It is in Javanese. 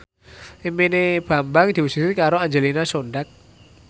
impine Bambang diwujudke karo Angelina Sondakh